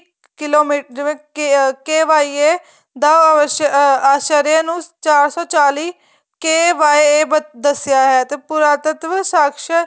kilometre ਜਿਵੇਂ KYA ਦਾ ਆ ਸ਼ਰੀਏ ਨੂੰ ਚਾਰ ਸੋ ਚਾਲੀ KYA ਦੱਸਿਆ ਹੈ ਤੇ ਪੂਰਾਤੱਤਵ ਸ਼ਾਸ਼ਕ